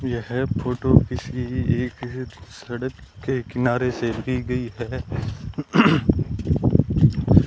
यह फोटो किसी एक सड़क के किनारे से ली गई है।